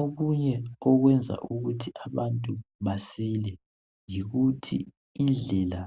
Okunye okwenza ukuthi abantu basile yikuthi indlela